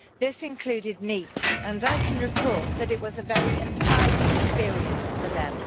This included NEETs, and I can report that it was a very empowering experience for them.